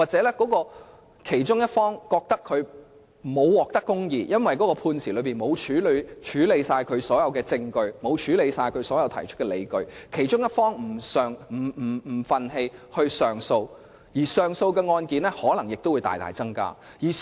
如果其中一方認為沒有獲得公義，因為判詞沒有處理全部證據或理據，心感不忿繼而提出上訴，這樣上訴案件的數量便可能大增。